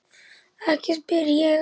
Ekki spyr ég að.